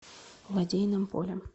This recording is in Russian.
лодейным полем